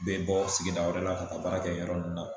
Be bɔ sigida wɛrɛ la ka baara kɛ yɔrɔ nun na